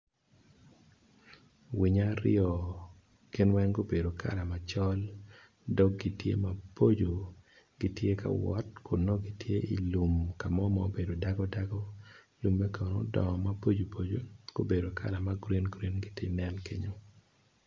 Winyo aryo gin weng gubedo kala macol dog=gi tye maboco gitye ka wot kun nongo gitye i lum mo ma obedo dago dago lume kono odongo maboco boco gubedo kala ma gurin gurin gitye ka nen kenyu.